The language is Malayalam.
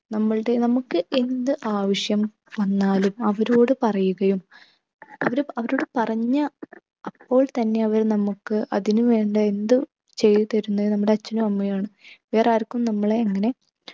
നമ്മൾടെ നമ്മുക്ക് എന്ത് ആവശ്യം വന്നാലും അവരോട് പറയുകയും അവര് അവരോട് പറഞ്ഞ അപ്പോൾ തന്നെ അവർ നമുക്ക് അതിനു വേണ്ട എന്തും ചെയ്തു തരുന്നേ നമ്മുടെ അച്ഛനും അമ്മയുമാണ് വേറാർക്കും നമ്മളെ അങ്ങനെ